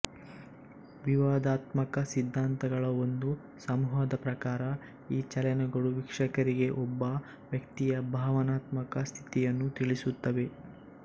ವಿವಾದಾತ್ಮಕ ಸಿದ್ಧಾಂತಗಳ ಒಂದು ಸಮೂಹದ ಪ್ರಕಾರ ಈ ಚಲನೆಗಳು ವೀಕ್ಷಕರಿಗೆ ಒಬ್ಬ ವ್ಯಕ್ತಿಯ ಭಾವನಾತ್ಮಕ ಸ್ಥಿತಿಯನ್ನು ತಿಳಿಸುತ್ತವೆ